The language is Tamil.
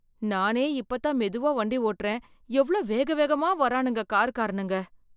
நானே இப்பத்தான் மெதுவா வண்டி ஓட்டுறேன் எவ்ளோ வேகவேகமா வரானுங்க காருக்காரனுங்க.